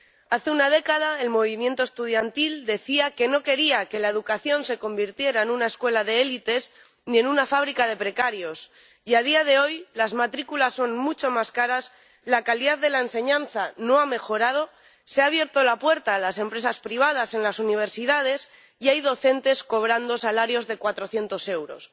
Hace una década, el movimiento estudiantil decía que no quería que la educación se convirtiera en una escuela de élites ni en una fábrica de precarios y, a día de hoy, las matrículas son mucho más caras, la calidad de la enseñanza no ha mejorado, se ha abierto la puerta a las empresas privadas en las universidades y hay docentes cobrando salarios de cuatrocientos euros.